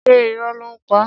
Ṣé irọ́ ló ń pa?